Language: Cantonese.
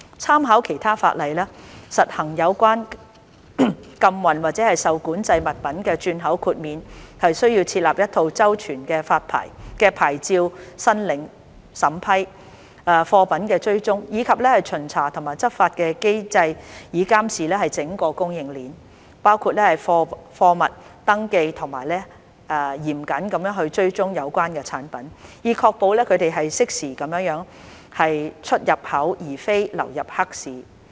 參考其他法例，實行有關禁運或受管制物品的轉口豁免需要設立一套周全的牌照申領審批、貨品追蹤，以及巡查和執法的機制以監視整個供應鏈，包括貨物登記及嚴謹地追蹤有關產品，以確保它們適時地出入口而非流入黑市。